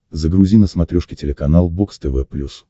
загрузи на смотрешке телеканал бокс тв плюс